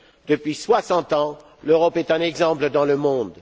Depuis soixante ans, l'Europe est un exemple dans le monde.